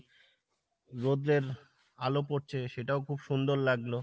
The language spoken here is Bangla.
রোদ্রের আলো পড়ছে সেটাও খুব সুন্দর লাগলো।